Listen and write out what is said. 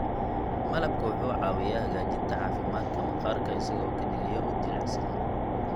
Malabka wuxuu caawiyaa hagaajinta caafimaadka maqaarka isagoo ka dhigaya mid jilicsan.